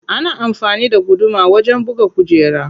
Ana amfani da guduma wajen buga kujera.